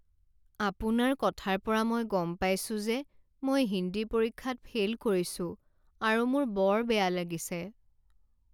আপোনাৰ কথাৰ পৰা মই গম পাইছো যে মই হিন্দী পৰীক্ষাত ফেইল কৰিছো আৰু মোৰ বৰ বেয়া লাগিছে।